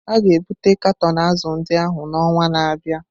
A ga-ebute katọn azụ̀ ndị ahụ n'ọnwa na-abịa.